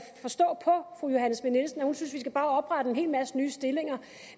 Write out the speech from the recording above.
hun synes vi bare skal oprette en hel masse nye stillinger